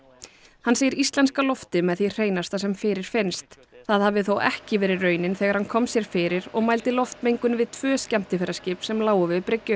hann segir íslenska loftið með því hreinasta sem fyrirfinnist það hafi þó ekki verið raunin þegar hann kom sér fyrir og mældi loftmengun við tvö skemmtiferðaskip sem lágu við bryggju